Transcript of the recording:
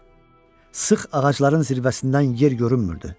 Sıx ağacların zirvəsindən yer görünmürdü.